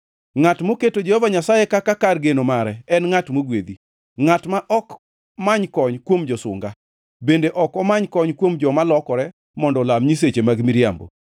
Ngʼat moketo Jehova Nyasaye kaka kar geno mare en ngʼat mogwedhi, ngʼat ma ok many kony kuom josunga, bende ok omany kony kuom joma lokore mondo olam nyiseche mag miriambo.